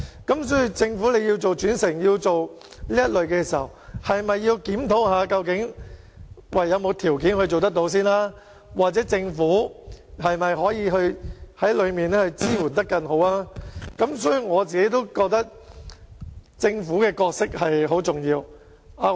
因此，政府如果要推動轉乘，是否應檢討究竟有沒有條件可以做到，又或政府是否可以提供更好的支援，所以，我認為政府在這方面擔當很重要的角色。